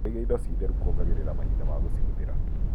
Kũiga indo ci theru kuongagĩrĩra mahinda ma gũcihũthĩra.